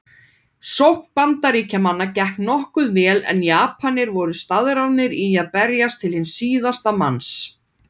Sókn Bandaríkjamanna gekk nokkuð vel en Japanir voru staðráðnir í að berjast til síðasta manns.